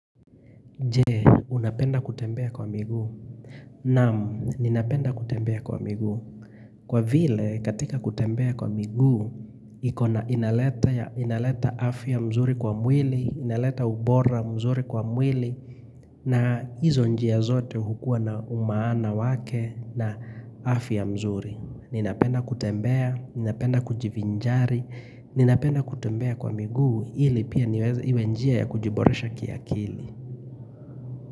Je, unapenda kutembea kwa miguu. Naam, ninapenda kutembea kwa miguu. Kwa vile, katika kutembea kwa miguu, inaleta afya mzuri kwa mwili, inaleta ubora mzuri kwa mwili, na hizo njia zote hukua na umaana wake na afya mzuri. Ninapenda kutembea, ninapenda kujivinjari, ninapenda kutembea kwa miguu ili pia niweze iwe njia ya kujiboresha kiakili.